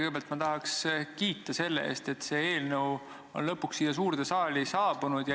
Kõigepealt ma tahan kiita selle eest, et see eelnõu on lõpuks siia suurde saali saabunud.